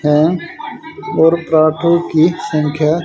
हैं और पराठों की संख्या--